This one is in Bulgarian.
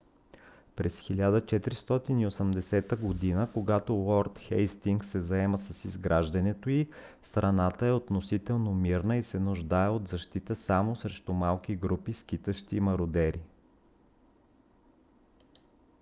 през 1480 г. когато лорд хейстингс се заема с изграждането й страната е относително мирна и се нуждае от защита само срещу малки групи скитащи мародери